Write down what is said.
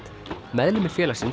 meðlimir félagsins